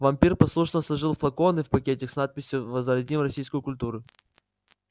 вампир послушно сложил флаконы в пакетик с надписью возродим российскую культуру